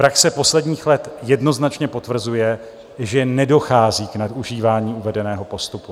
Praxe posledních let jednoznačně potvrzuje, že nedochází k nadužívání uvedeného postupu.